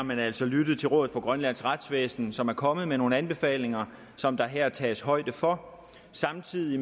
man altså lyttet til rådet for grønlands retsvæsen som er kommet med nogle anbefalinger som der her tages højde for samtidig